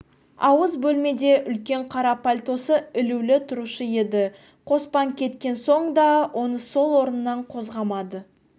ауыз бөлмеде үлкен қара пальтосы ілулі тұрушы еді қоспан кеткен соң да оны сол орнынан қозғамады